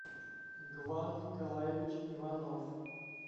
гван николаевич иванов